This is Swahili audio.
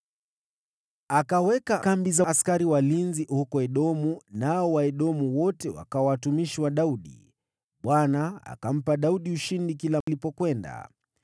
Akaweka kambi za askari walinzi huko Edomu, nao Waedomu wote wakawa watumishi wa Daudi. Bwana akampa Daudi ushindi kila alipokwenda.